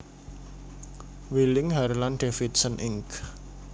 Wheeling Harlan Davidson Inc